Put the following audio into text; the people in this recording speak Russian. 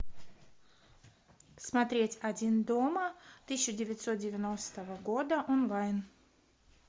смотреть один дома тысяча девятьсот девяностого года онлайн